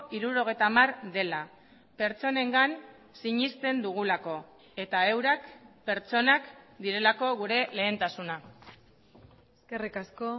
hirurogeita hamar dela pertsonengan sinesten dugulako eta eurak pertsonak direlako gure lehentasuna eskerrik asko